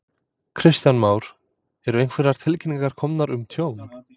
Kristján Már: Eru einhverjar tilkynningar komnar um tjón?